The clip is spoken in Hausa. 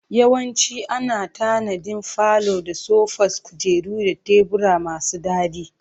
Yawanci ana tanadin falo da sofas, kujeru da tebura masu daɗi.